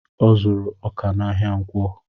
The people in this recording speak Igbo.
Ọ zuru ọkà n'ahia ǹkwọ